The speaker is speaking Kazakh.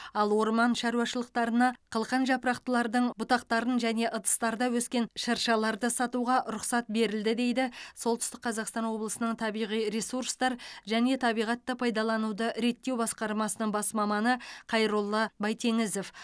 ал орман шаруашылықтарына қылқан жапырақтылардың бұтақтарын және ыдыстарда өскен шыршаларды сатуға рұқсат берілді дейді солтүстік қазақстан облысының табиғи ресурстар және табиғатты пайдалануды реттеу басқармасының бас маманы қайролла байтеңізов